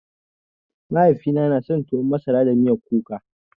Mahaifina na son tuwan masara da miyar kuka